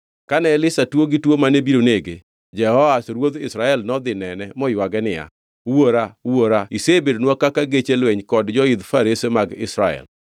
Kane Elisha tuo gi tuo mane biro nege, Jehoash ruodh Israel nodhi nene moywage niya, “Wuora! Wuora isebedonwa kaka geche lweny kod joidh farese mag Israel!”